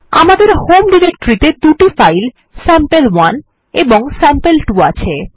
আমাদের হোম ডিরেক্টরিতে দুটো ফাইল স্যাম্পল1 এবং স্যাম্পল2 আছে